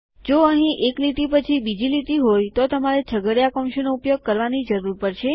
જો અહીં એક લીટી પછી બીજી લીટી હોય તો તમારે છગડીયા કૌંસોનો ઉપયોગ કરવાની જરૂર પડશે